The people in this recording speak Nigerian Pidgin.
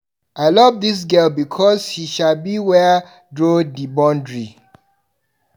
I love dis girl because she sabi where to draw di boundary.